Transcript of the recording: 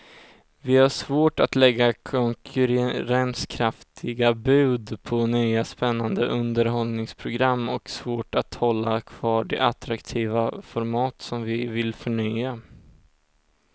Vi har svårt att lägga konkurrenskraftiga bud på nya spännande underhållningsprogram och svårt att hålla kvar de attraktiva format som vi vill förnya.